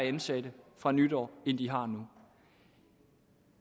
ansatte fra nytår end de har nu